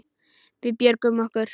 Við björgum okkur.